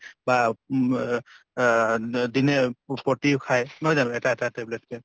বা উম ৱ অহ দ দিনে প্ৰতিও খায় নহয় জানো এটা এটা tablet ক?